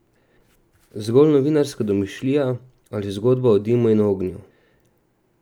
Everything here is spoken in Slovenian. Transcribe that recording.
Zgolj novinarska domišljija ali zgodba o dimu in ognju?